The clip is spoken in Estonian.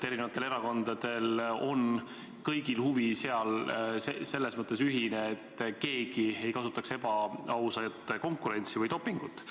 Eri erakondadel on seal kõigil ühine huvi, et keegi ei kasutaks ebaausat konkurentsi ehk dopingut.